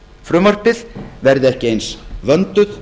frumvarpið verði ekki eins vönduð